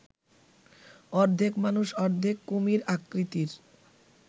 অর্ধেক মানুষ অর্ধেক কুমির আকৃতির